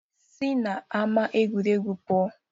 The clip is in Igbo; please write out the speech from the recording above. Si n'ama egwuregwu pụọ!